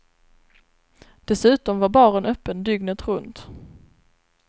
Dessutom var baren öppen dygnet runt.